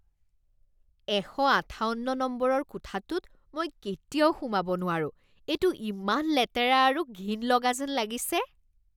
এশ আঠাৱন্ন নম্বৰৰ কোঠাটোত মই কেতিয়াও সোমাব নোৱাৰোঁ এইটো ইমান লেতেৰা আৰু ঘিণ লগা যেন লাগিছে।